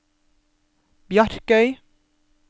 Bjarkøy